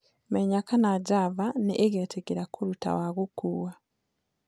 menya kana java niigetikiria kũrũta wa gukũũwa